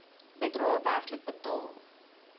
bedrae werklik betaal